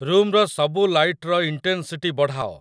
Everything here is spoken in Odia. ରୁମ୍‌ର ସବୁ ଲାଇଟ୍‌ର ଇଣ୍ଟେନ୍‌ସିଟି ବଢ଼ାଅ